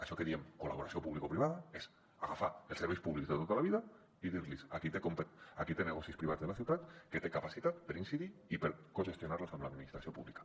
això que en diem col·laboració publicoprivada és agafar els serveis públics de tota la vida i dir li a qui té negocis privats de la ciutat que té capacitat per incidir i per cogestionar los amb l’administració pública